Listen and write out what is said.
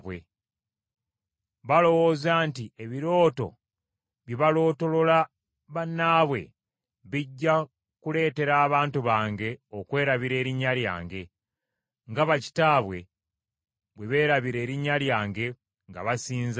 Balowooza nti ebirooto bye balootolola bannaabwe bijja kuleetera abantu bange okwerabira erinnya lyange, nga bakitaabwe bwe beerabira erinnya lyange nga basinza Baali.